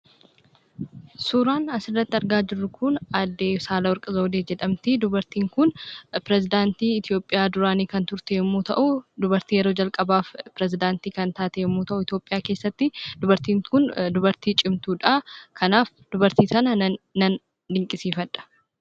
Suuraan asirratti argaa jirru kun aaddee Saahlawarq Zawudee jedhamti. Dubartiin kun pirezedaantii Itoophiyaa duraanii kan turte yommuu ta'u, dubartii yeroo calqabaaf pirezedaantii kan taate yommuu ta'u, Itoophiyaa keessatti dubartiin kun dubartii cimtuudha. Kanaaf dubartii kana nan dinqisiifadha.